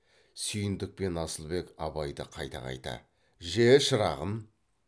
сүйіндік пен асылбек абайды қайта қайта же шырағым